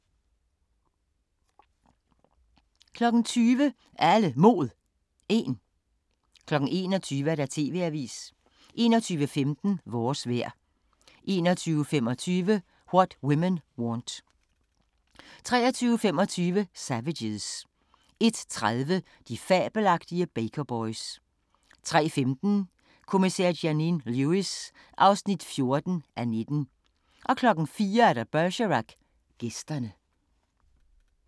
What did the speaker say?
20:00: Alle Mod 1 21:00: TV-avisen 21:15: Vores vejr 21:25: What Women Want 23:25: Savages 01:30: De fabelagtige Baker Boys 03:15: Kommissær Janine Lewis (14:19) 04:00: Bergerac: Gæsterne